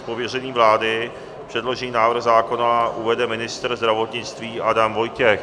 Z pověření vlády předložený návrh zákona uvede ministr zdravotnictví Adam Vojtěch.